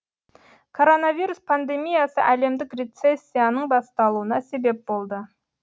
коронавирус пандемиясы әлемдік рецессияның басталуына себеп болды